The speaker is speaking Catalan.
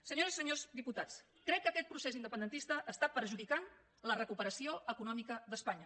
senyores i senyors diputats crec que aquest procés independentista està perjudicant la recuperació econòmica d’espanya